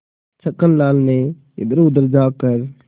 छक्कन लाल ने इधरउधर झॉँक कर